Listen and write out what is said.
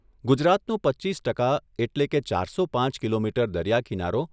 ગુજરાતનો પચ્ચીસ ટકા એટલે કે ચારસો પાંચ કિલોમીટર દરિયા કિનારો